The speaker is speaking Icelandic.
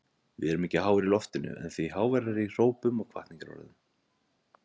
Við erum ekki háir í loftinu en því háværari í hrópum og hvatningarorðum.